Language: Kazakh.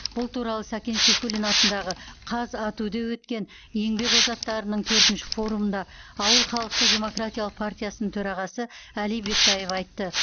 бұл туралы сәкен сейфуллин атындағы қазату де өткен еңбек озаттарының төртінші форумында ауыл халықтық демократиялық партиясының төрағасы әли бектаев айтты